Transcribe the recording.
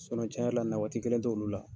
cɛn yɛrɛ la nawaati kelen t'olu la.